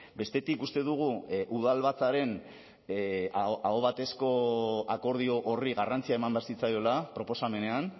bestetik uste dugu udalbatzaren ahobatezko akordio horri garrantzia eman behar zitzaiola proposamenean